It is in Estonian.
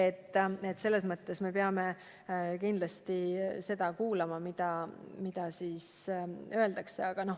Nii et selles mõttes me peame kindlasti kuulama, mida meile öeldakse.